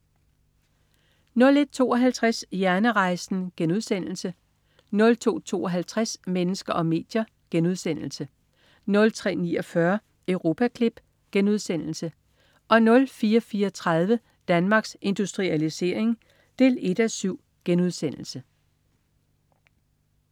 01.52 Hjernerejsen* 02.52 Mennesker og medier* 03.49 Europaklip* 04.34 Danmarks Industrialisering 1:7*